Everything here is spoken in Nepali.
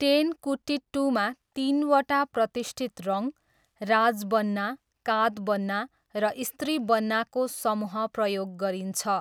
टेनकुटिट्टूमा, तिनवटा प्रतिष्ठित रङ, राजबन्ना, कातबन्ना र स्त्रीबन्नाको समूह प्रयोग गरिन्छ।